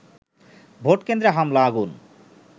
ভোটকেন্দ্রে হামলা, আগুন